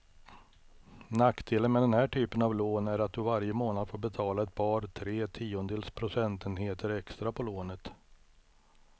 Nackdelen med den här typen av lån är att du varje månad får betala ett par, tre tiondels procentenheter extra på lånet.